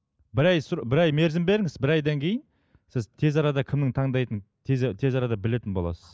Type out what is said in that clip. бір ай бір ай мерзім беріңіз бір айдан кейін сіз тез арада кімнің таңдайтынын тез тез арада білетін боласыз